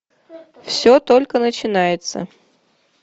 все только начинается